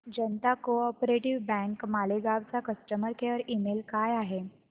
जनता co-op bank Malegaon चा customer care email काय आहे